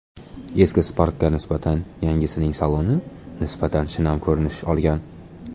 Eski Spark’ga nisbatan yangisining saloni nisbatan shinam ko‘rinish olgan.